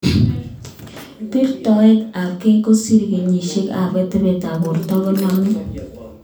Birtoet ab key kosir kenyisiek ak atebetab borto ko nami